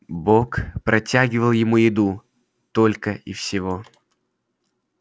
бог протягивал ему еду только и всего